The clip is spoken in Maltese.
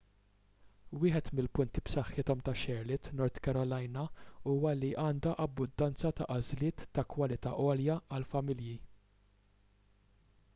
wieħed mill-punti b'saħħithom ta' charlotte north carolina huwa li għandha abbundanza ta' għażliet ta' kwalità għolja għall-familji